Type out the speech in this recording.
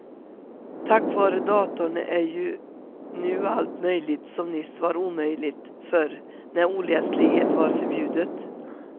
Tack vare datorn är ju nu allt möjligt som nyss var omöjligt, förr när oläslighet var förbjudet.